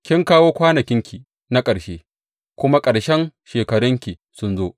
Kin kawo kwanakinki ga ƙarshe, kuma ƙarshen shekarunki sun zo.